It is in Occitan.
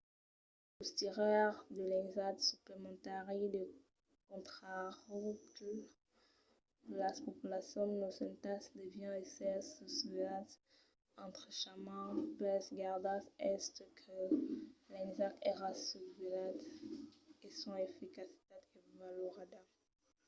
los tiraires de l'ensag suplementari de contraròtle de las populacions nosentas devián èsser susvelhats estrechament pels gardas estent que l'ensag èra susvelhat e son eficacitat avalorada